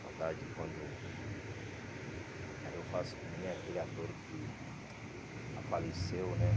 Saudade quando... Aí eu faço como nem aquele ator que ah faleceu, né?